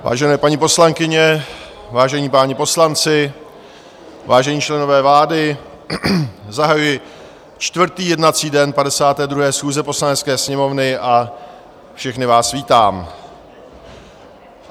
Vážené paní poslankyně, vážení páni poslanci, vážení členové vlády, zahajuji čtvrtý jednací den 52. schůze Poslanecké sněmovny a všechny vás vítám.